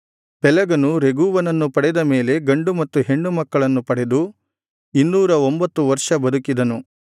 ಪೆಲೆಗನು ರೆಗೂವನನ್ನು ಪಡೆದ ಮೇಲೆ ಗಂಡು ಮತ್ತು ಹೆಣ್ಣು ಮಕ್ಕಳನ್ನು ಪಡೆದು ಇನ್ನೂರ ಒಂಭತ್ತು ವರ್ಷ ಬದುಕಿದನು